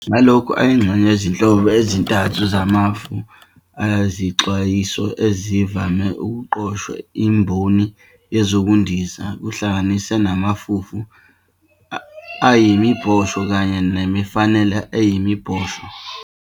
Ngalokho, ayingxenye yezinhlobo ezintathu zamafu ezixwayisayo ezivame ukuqoshwa imboni yezokundiza, kuhlanganisa namafufu ayimibhosho kanye namafenala ayimibhosho.